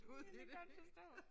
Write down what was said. Det kan jeg godt forstå